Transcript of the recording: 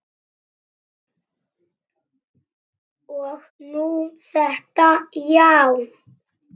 Og nú þetta, já.